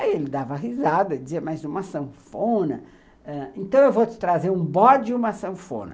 Aí ele dava risada, dizia, mas uma sanfona... ãh, então eu vou te trazer um bode e uma sanfona.